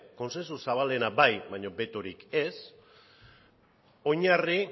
kontsensu zabalena bai baino betorik ez oinarri